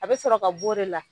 A bɛ sɔrɔ ka b' o de la.